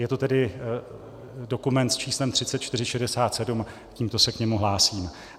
Je to tedy dokument s číslem 3467, tímto se k němu hlásím.